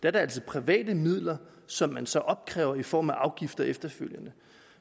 er det altså private midler som man så opkræver i form af afgifter efterfølgende